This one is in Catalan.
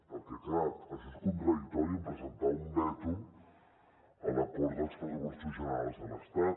perquè clar això és contradictori amb presentar un veto a l’acord dels pressupostos generals de l’estat